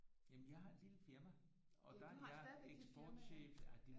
Jamen jeg har et lille firma og der er jeg eksportchef